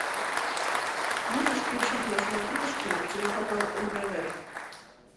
можешь включить на смотрешке телеканал нтв